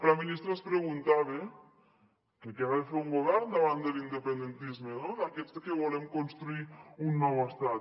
la ministra es preguntava que què ha de fer un govern davant de l’independentisme d’aquests que volem construir un nou estat